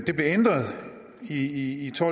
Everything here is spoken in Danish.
det blev ændret i to